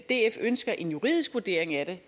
df ønsker en juridisk vurdering af det